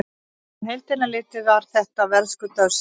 Á heildina litið var þetta verðskuldaður sigur.